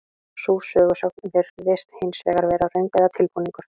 Sú sögusögn virðist hins vegar vera röng eða tilbúningur.